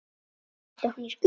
Ætlar hún í skóla.